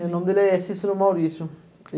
O nome dele é Cícero Maurício.